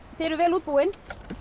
þið eruð vel útbúin